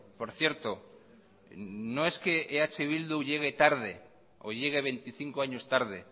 por cierto no es que eh bildu llegue tarde o llegue veinticinco años tarde